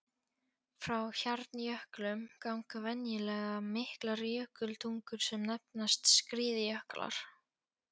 Frá hjarnjöklum ganga venjulega miklar jökultungur sem nefnast skriðjöklar.